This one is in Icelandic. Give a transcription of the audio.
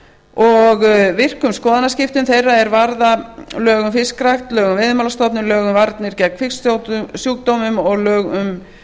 og virkum skoðanaskiptum þeirra er varða lög um fiskrækt lög um veiðimálastofnun lög um varnir gegn fisksjúkdómum og lög um